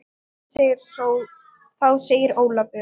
Þá segir Ólafur